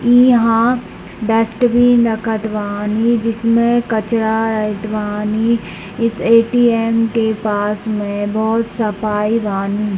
इहाँ डस्टबिन रखत बानी जिसमें कचरा रहत बानी इस ए.टी.एम. के पास में बहुत सफाई बानी।